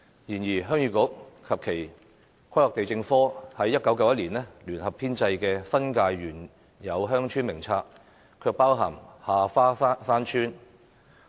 然而，鄉議局及前規劃地政科在1991年聯合編製的《新界原有鄉村名冊》卻包含下花山村。